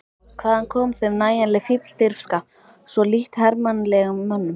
Hvaðan kom þeim nægjanleg fífldirfska, svo lítt hermannlegum mönnum?